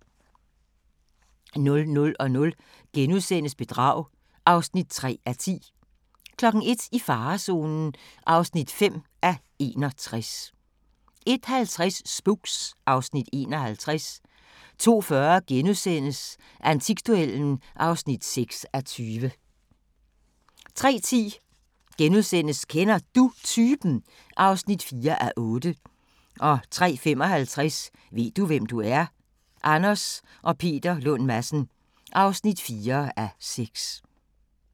00:00: Bedrag (3:10)* 01:00: I farezonen (5:61) 01:50: Spooks (Afs. 51) 02:40: Antikduellen (6:20)* 03:10: Kender Du Typen? (4:8)* 03:55: Ved du, hvem du er? – Anders og Peter Lund Madsen (4:6)